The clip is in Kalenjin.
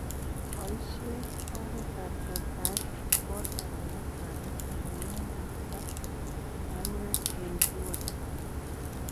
boisien oretab tortaet. kool bandek ak bandek anan ngendek ak marurek en kiwato